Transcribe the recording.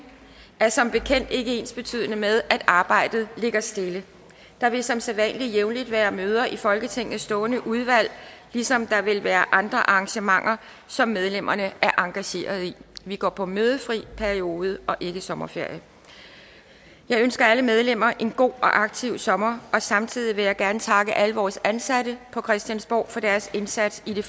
er som bekendt ikke ensbetydende med at arbejdet ligger stille der vil som sædvanlig jævnligt være møder i folketingets stående udvalg ligesom der vil være andre arrangementer som medlemmerne er engageret i vi går på mødefri periode og ikke sommerferie jeg ønsker alle medlemmer en god og aktiv sommer og samtidig vil jeg gerne takke alle vores ansatte på christiansborg for deres indsats i det